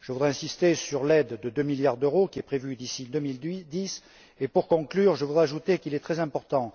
Je voudrais insister sur l'aide de deux milliards d'euros qui est prévue d'ici 2010, et pour conclure, je voudrais ajouter qu'il est très important